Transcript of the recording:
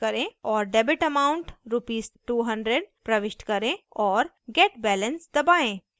और debit amount rs 200 प्रविष्ट करें और get balance दबाएँ